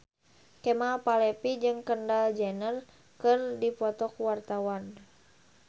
Kemal Palevi jeung Kendall Jenner keur dipoto ku wartawan